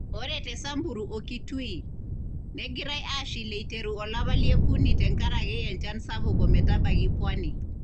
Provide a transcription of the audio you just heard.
Ore te Samburu o Kitui , naagerai aashil eiteru olapa lie okuni tenkaraki enchan sapuk ometabaiki Pwani.